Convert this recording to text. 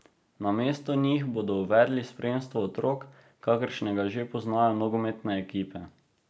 Namesto njih bodo uvedli spremstvo otrok, kakršnega že poznajo nogometne ekipe.